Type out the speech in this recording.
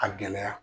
A gɛlɛya